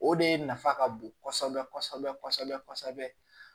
O de nafa ka bon kɔsɛbɛ kɔsɛbɛ kɔsɛbɛ kɔsɛbɛ